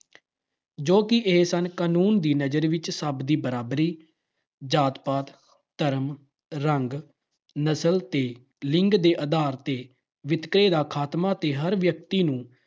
ਜੋ ਕਿ ਇਹ ਸਨ- ਕਾਨੂੰਨ ਦੀ ਨਜ਼ਰ ਵਿੱਚ ਸਭ ਦੀ ਬਰਾਬਰੀ। ਜਾਤ-ਪਾਤ, ਧਰਮ, ਰੰਗ, ਨਸਲ ਤੇ ਲਿੰਗ ਦੇ ਆਧਾਰ ਤੇ ਵਿਤਕਰੇ ਦਾ ਖਾਤਮਾ ਤੇ ਹਰ ਵਿਅਕਤੀ ਨੂੰ